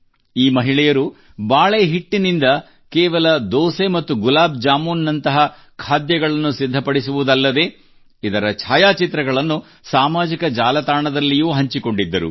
ಈ ಮಹಿಳೆಯರು ಬಾಳೆ ಹಿಟ್ಟಿನಿಂದ ಕೇವಲ ದೋಸೆ ಮತ್ತು ಗುಲಾಬ್ ಜಾಮೂನ್ ನಂತಹ ಖಾದ್ಯಗಳನ್ನು ಸಿದ್ಧಪಡಿಸುವುದಲ್ಲದೆ ಇದರ ಛಾಯಾಚಿತ್ರಗಳನ್ನು ಸಾಮಾಜಿಕ ಜಾಲತಾಣದಲ್ಲಿಯೂ ಹಂಚಿಕೊಂಡಿದ್ದರು